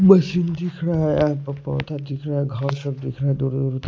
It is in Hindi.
मशीन दिख रहा है पौधा दिख रहा है घर सब दिख रहा है दो--